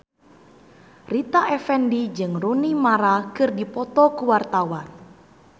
Rita Effendy jeung Rooney Mara keur dipoto ku wartawan